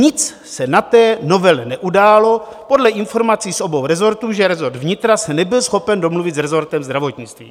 Nic se na té novele neudálo podle informací z obou resortů, že resort vnitra se nebyl schopen domluvit s resortem zdravotnictví.